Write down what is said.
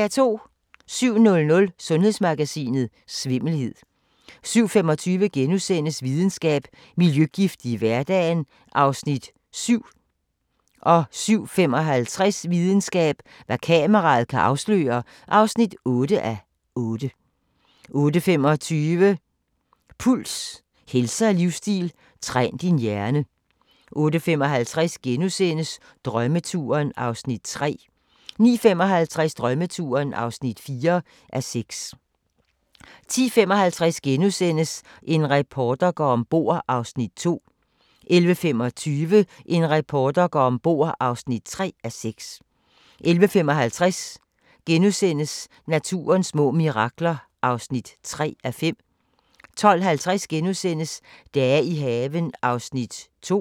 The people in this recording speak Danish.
07:00: Sundhedsmagasinet: Svimmelhed 07:25: Videnskab: Miljøgifte i hverdagen (7:8)* 07:55: Videnskab: Hvad kameraet kan afsløre (8:8) 08:25: Puls – helse og livsstil: Træn din hjerne 08:55: Drømmeturen (3:6)* 09:55: Drømmeturen (4:6) 10:55: En reporter går om bord (2:6)* 11:25: En reporter går om bord (3:6) 11:55: Naturens små mirakler (3:5)* 12:50: Dage i haven (2:12)*